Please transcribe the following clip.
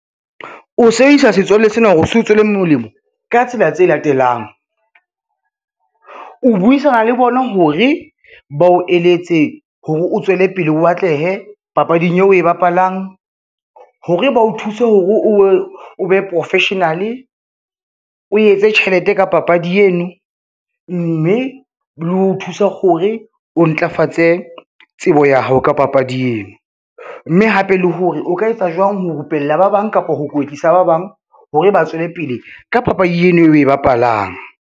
O sebedisa setswalle sena hore o se o tswele molemo, ka tsela tse latelang. O buisana le bona hore ba o eletse hore o tswele pele o atlehe papading eo o e bapalang, hore ba o thuse hore o be professional o etse tjhelete ka papadi eno, mme le ho thusa hore o ntlafatse tsebo ya hao ka papadi eo, mme hape le hore o ka etsa jwang ho rupella ba bang kapa ho kwetlisa ba bang hore ba tswele pele ka papadi eno eo o e bapalang.